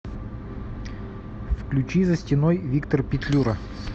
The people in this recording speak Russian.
включи за стеной виктор петлюра